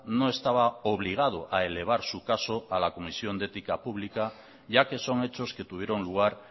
no estaba obligado a elevar su caso a la comisión de ética pública ya que son hechos que tuvieron lugar